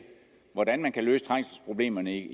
hvordan man kan løse trængselsproblemerne